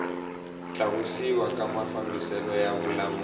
tlakusiwa ka mafambiselo ya vululami